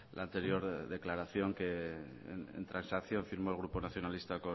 la anterior declaración que en transacción firmó el grupo nacionalista